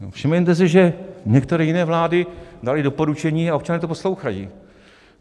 Všimněte si, že některé jiné vlády daly doporučení a občané to poslouchají.